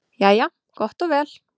Jæja gott og vel.